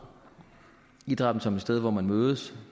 idrætten som et sted hvor man mødes